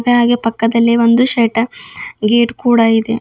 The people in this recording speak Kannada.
ಹಾಗೆ ಪಕ್ಕದಲ್ಲಿ ಒಂದು ಶೆಟರ್ ಗೇಟ್ ಕೂಡ ಇದೆ.